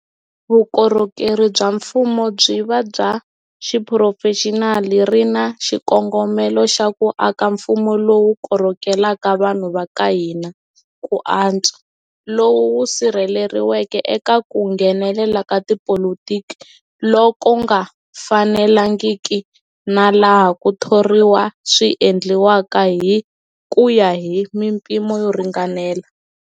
Vukorhokeri bya Mfumo byi va bya Xiphurofexinali ri na xikongomelo xa ku aka mfumo lowu korhokelaka vanhu va ka hina ku antswa, lowu wu sirheleriweke eka ku nghenelela ka tipolitiki loku nga fanelangiki na laha ku thoriwa swi endliwaka hi ku ya hi mipimo yo ringanela.